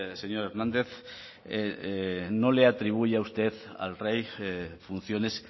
señor hernández no le atribuya usted al rey funciones